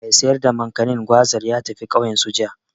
Mai sayar da Makanin/Gwazar ya tafi ƙauyensu, jiya.